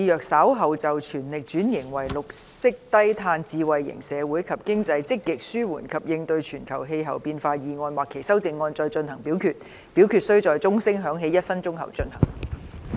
主席，我動議若稍後就"全力轉型為綠色低碳智慧型社會及經濟積極紓緩及應對全球氣候變化"所提出的議案或修正案再進行點名表決，表決須在鐘聲響起1分鐘後進行。